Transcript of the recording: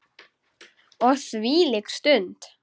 Og hvílík stund!